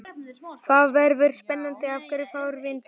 Það verður spennandi að sjá hverju fram vindur.